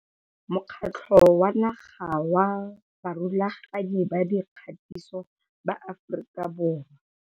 Mokgatlo wa Naga wa Barulaganyi ba Dikgatiso ba Aforika Borwa.